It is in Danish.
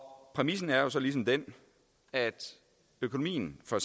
præmissen er så ligesom den at økonomien for